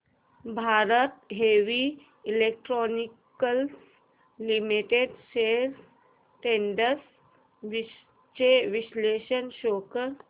Bharat heavy electricals limited shares trends चे विश्लेषण show कर